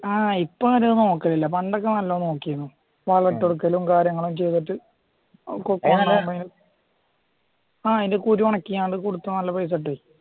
ആ ഇപ്പൊ അങ്ങനെ നോക്കാറില്ല പണ്ടൊക്കെ നാലോണം നോക്കിയിരുന്നു വളം ഇട്ട് കൊടുക്കലും കാര്യങ്ങളും ചെയ്തിട്ട് കൊക്കോ അയിൻറ്റെ കുരു ഒണക്കി കൊടുത്താൽ നല്ല പൈസ കിട്ടും